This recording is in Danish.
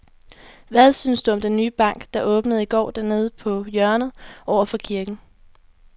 Hvad synes du om den nye bank, der åbnede i går dernede på hjørnet over for kirken?